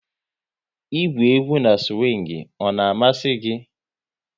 Ị gwụ egwú na siwing, ọ na-amasị gị?